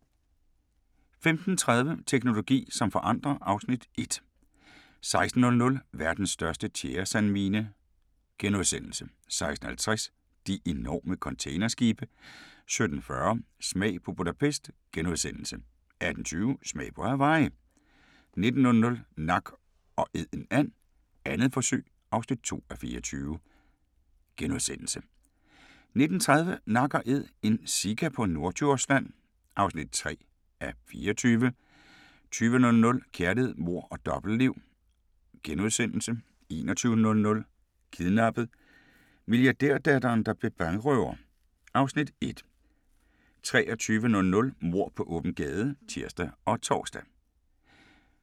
15:30: Teknologi som forandrer (Afs. 1) 16:00: Verdens største tjæresandmine * 16:50: De enorme containerskibe 17:40: Smag på Budapest * 18:20: Smag på Hawaii 19:00: Nak & Æd en and - 2. forsøg (2:24)* 19:30: Nak & Æd – en sika på Norddjursland (3:24) 20:00: Kærlighed, mord og dobbeltliv * 21:00: Kidnappet: Milliardærdatteren der blev bankrøver (Afs. 1) 23:00: Mord på åben gade (tir og tor)